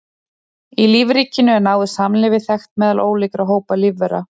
Í lífríkinu er náið samlífi þekkt meðal ólíkra hópa lífvera.